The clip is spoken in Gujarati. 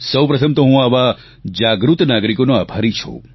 સૌ પ્રથમ તો હું આવા જાગૃત નાગરિકોનો આભારી છું